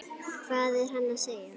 Hvað er hann að segja?